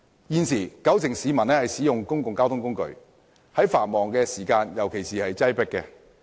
現時，九成市民使用公共交通工具，在繁忙時段尤其擠迫。